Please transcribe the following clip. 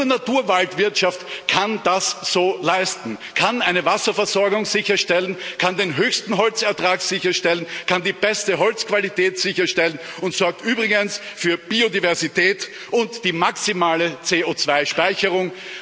Nur Naturwaldwirtschaft kann das so leisten, kann eine Wasserversorgung sicherstellen, kann den höchsten Holzertrag sicherstellen, kann die beste Holzqualität sicherstellen und sorgt übrigens für Biodiversität und die maximale CO2 Speicherung.